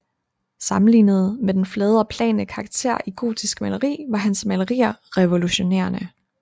Sammenlignet med den flade og plane karakter i gotisk maleri var hans malerier revolutionerende